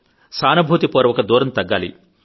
సానుభూతి పూర్వక దూరం తగ్గాలి